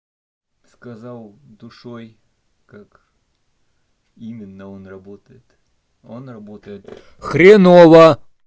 сказал душой как именно он работает он работает хреново